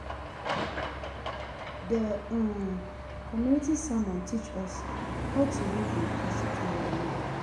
The um community sermon teach us how to live in peace with one another.